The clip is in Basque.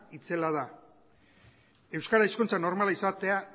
itzela da euskara hizkuntza normalizatua